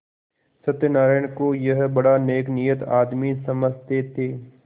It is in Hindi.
सत्यनाराण को यह बड़ा नेकनीयत आदमी समझते थे